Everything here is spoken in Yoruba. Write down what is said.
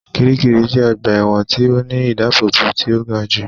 Kiríkirì jẹ́ ọgbà ẹ̀wọ̀n tí ó ní ìdábóbò tí ó ga jù